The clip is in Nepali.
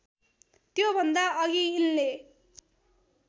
त्योभन्दा अघि यिनले